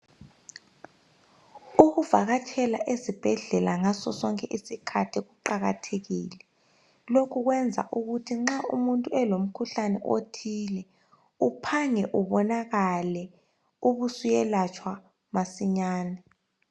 Ukuvakatshela ezibhedlela ngaso sonke isikhathi kuqakathekile lokhu kwenza ukuthi nxa umuntu elomkhuhlane othile uphange ubonakale ubusuyelatshwa masinyane